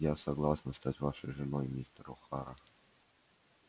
я согласна стать вашей женой мистер охара